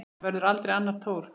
Það verður aldrei annar Thor.